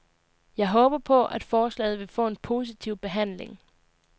Jeg håber på, at forslaget vil få en positiv behandling.